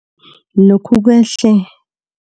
Lokhu kwehle